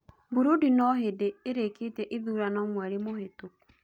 Burundi noo hindi irikitie ithurano mweri mũhitũku.